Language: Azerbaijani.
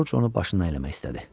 Corc onu başından eləmək istədi.